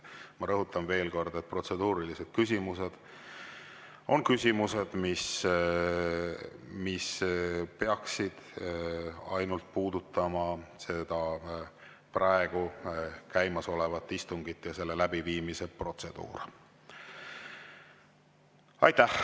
Ma rõhutan veel kord: protseduurilised küsimused on küsimused, mis peaksid puudutama ainult käimasolevat istungit ja selle läbiviimise protseduure.